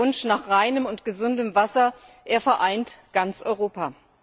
Der Wunsch nach reinem und gesundem Wasser vereint ganz Europa.